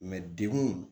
dekun